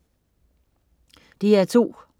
DR2: